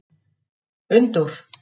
Unndór